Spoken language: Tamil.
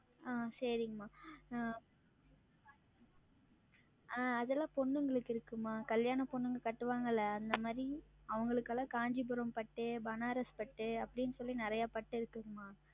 ஆஹ் சேரிங்கம்மா ஆஹ் அதுல்லாம் பெண்ணுங்ளுக்கு இருக்கும்மா. கல்யாண பொண்ணுங்க கட்டுவாங்கள்ள அந்தமாறி அவங்களுக்கெல்லாம் Kancheepuram பட்டு பனாரஸ் பட்டு அப்படின்னு சொல்லி நெறைய பட்டு இருக்குதும்மா.